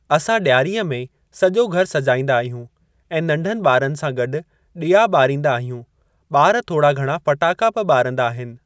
असां ॾियारीअ में सॼो घर सजाईंदा आहियूं ऐं नंढनि ॿारनि सां गॾु ॾिया ॿारींदा आहियूं। ॿार थोरा घणा फटाका बि ॿारींदा आहिनि।